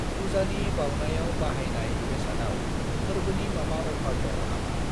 पुजानि बाउनायाव बाहायनाय बेसादआव फोरबोनि माबा अफार दङ नामा?